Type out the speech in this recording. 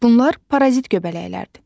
Bunlar parazit göbələklərdir.